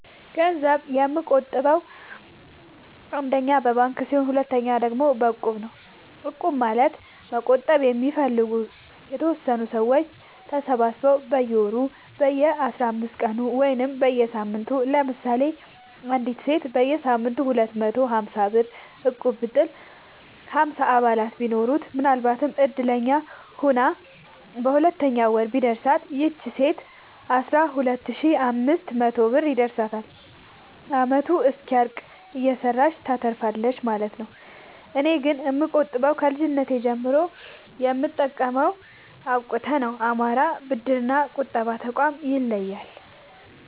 ገንዘብ የምቆ ጥበው አንደኛ በባንክ ሲሆን ሁለተኛ ደግሞ በእቁብ ነው እቁብ ማለት መቁጠብ የሚፈልጉ የተወሰኑ ሰዎች ተሰባስበው በየወሩ በየአስራአምስት ቀኑ ወይም በየሳምንቱ ለምሳሌ አንዲት ሴት በየሳምንቱ ሁለት መቶ ሀምሳብር እቁብጥል ሀምሳ አባላት ቢኖሩት ምናልባትም እድለኛ ሆና በሁለተኛው ወር ቢደርሳት ይቺ ሴት አስራሁለት ሺ አምስት መቶ ብር ይደርሳታል አመቱ እስኪያልቅ እየሰራች ታተርፋለች ማለት ነው። እኔ ግን የምቆጥበው ከልጅነቴ ጀምሮ የምጠቀመው አብቁተ ነው። አማራ ብድር እና ቁጠባ ጠቋም ይለያል።